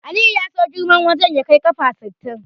Aliyu ya so girman wajen ya kai ƙafa sittin.